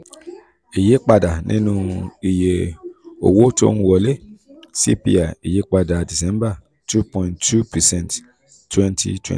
ìyípadà nínú iye owó tó ń wọlé cpi ìyípadà december two point two percent twenty